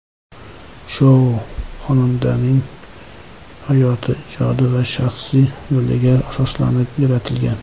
Shou xonandaning hayoti, ijodiy va shaxsiy yo‘liga asoslanib yaratilgan.